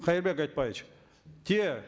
кайырбек айтбаевич те